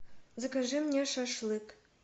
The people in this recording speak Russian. закажи мне шашлык